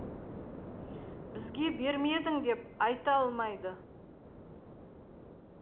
бізге бермедің деп айта алмайды